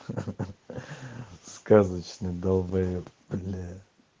ха-ха сказочный долбаёб бля